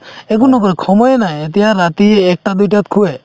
একো নকৰে সময়ে নাই এতিয়া ৰাতি এটা দুটাত শুয়ে